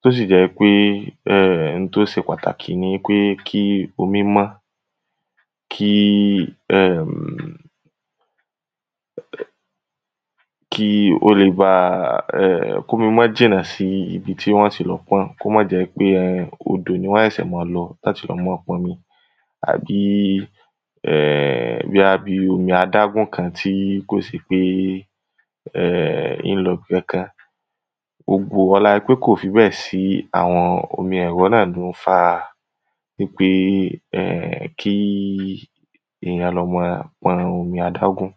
tó sì jẹ́ pé n to se pataki ni pe kí omí mọ́ kómi mọ́ jìnà síbi tí wọ́n ti lọ pọ́n kó mó jẹ́ pé odò ni wón ṣẹ̀ ṣẹ̀ ma lọ láti lọ mọ́ pọnmi àbí bóyá bi omi adágún kan tí kò se pé ín lọ bì kankan olá pé kò fi bẹ́ẹ̀ sí àwọn omi ẹ̀rọ náà ló ń fa wípé kí ìyan lọ̀ ma pọn omi adágún